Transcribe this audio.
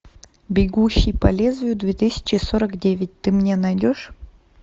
бегущий по лезвию две тысячи сорок девять ты мне найдешь